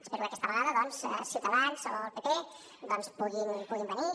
espero que aquesta vegada doncs ciutadans o el pp puguin venir